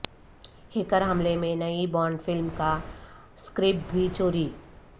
hacker حملے میں نئی بانڈ فلم کا سکرپٹ بھی چوری